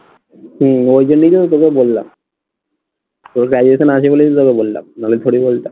হম ওই জন্যই তো আমি তোকে বললাম তোর graduation আছে বলেই আমি তোকে বললাম নইলে থোড়ি বলতাম